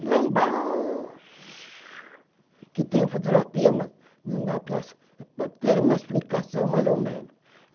E lá embaixo, que tem fotografia, mas não dá para para ter uma explicação, mais ou menos.